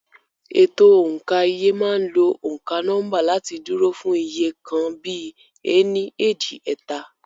Ètò òǹkà iye máa ń lo òǹkà nọ́mbà láti dúró fún iye nǹkan bíi "ení, èjì, ẹ̀ta".